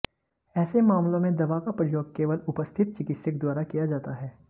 ऐसे मामलों में दवा का प्रयोग केवल उपस्थित चिकित्सक द्वारा किया जाता है